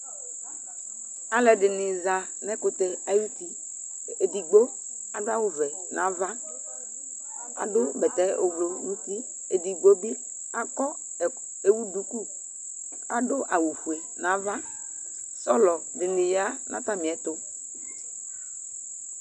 Alʋɛdɩnɩ za n'ǝkʋtɛ ay'uti : edigbo adʋ awʋvɛ n'ava , adʋ bɛtɛ ʋblʋ n'uti, edigbo bɩ akɔ ɛkɔ ewu duku , adʋ awʋfue n'ava ; sɔlɔ dɩnɩ ya n'atamɩɛtʋ